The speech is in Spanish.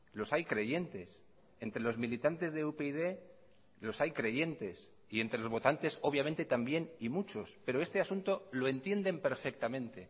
los hay creyentes entre los militantes de upyd los hay creyentes y entre los votantes obviamente también y muchos pero este asunto lo entienden perfectamente